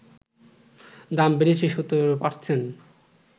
দাম বেড়েছে ১৭%